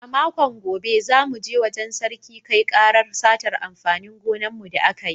A makon gobe, za mu je wajen Sarki kai ƙarar satar amfanin gonan mu da aka yi